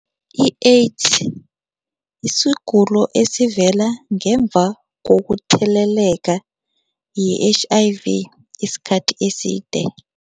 I-AIDS yisigulo esivela ngemva kokutheleleka yi-H_I_V isikhathi eside